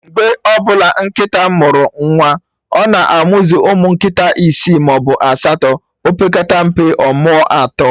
Mgbe ọbụla nkịta mụrụ nwa, ọ na-amuzu ụmụ nkịta isi maọbụ asatọ, opekata mpe, ọmụọ atọ